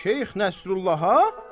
Şeyx Nəsrullaha?